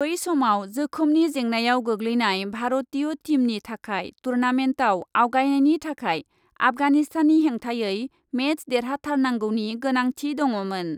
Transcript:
बै समाव जोखोमनि जेंनायाव गोग्लैनाय भारतीय टीमनि थाखाय टुर्नामेन्टआव आवगायनायनि थाखाय आफगानिस्ताननि हेंथायै मेच देरहाथारनांगौनि गोनांथि दडमोन ।